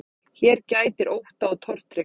Hér gætir ótta og tortryggni.